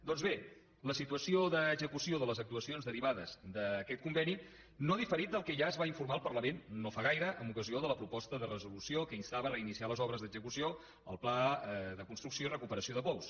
doncs bé la situació d’execució de les actuacions derivades d’aquest conveni no ha diferit del que ja es va informar en el parlament no fa gaire en ocasió de la proposta de resolució que instava a reiniciar les obres d’execució el pla de construcció i recuperació de pous